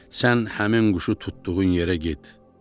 Sən həmin quşu tutduğun yerə get.